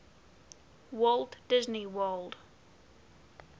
walt disney world